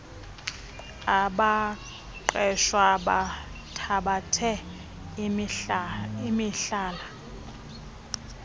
abaqeshwa bathabathe imihlala